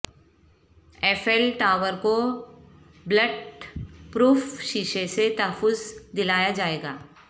Eiffel Tower کو bulletproof شیشے سے تحفظ دلایا جائیگا